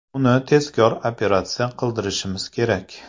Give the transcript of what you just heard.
Uni tezroq operatsiya qildirishimiz kerak.